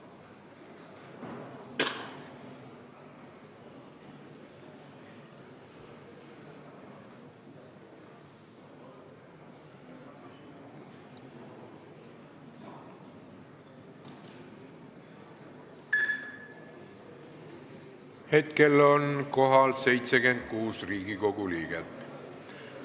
Kohaloleku kontroll Hetkel on kohal 76 Riigikogu liiget.